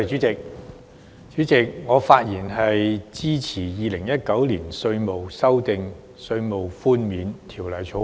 主席，我發言支持三讀《2019年稅務條例草案》。